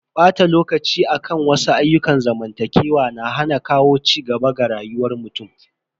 Bata lokaci akan wasu ayyukan zamantakewa na hana kawo cigaba ga rayuwar mutum.